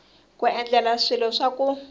ku endla swilo swa ku